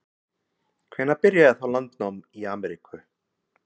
Og hafði áður komist að því hvar Tyrkland var niður sett í álfuna.